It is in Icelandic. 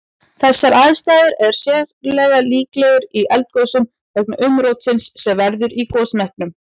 Þessar aðstæður er sérlega líklegar í eldgosum vegna umrótsins sem verður í gosmekkinum.